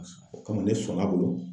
O kama ne sɔnn'a bolo.